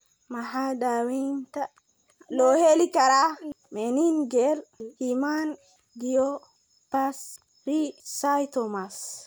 Maxaa daawaynta loo heli karaa meningeal hemangiopericytoma?